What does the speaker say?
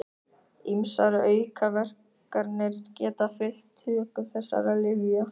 Ýmsar aukaverkanir geta fylgt töku þessara lyfja.